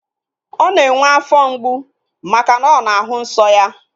Ọ na-enwe afọ mgbu maka na ọ na-ahụ nsọ ya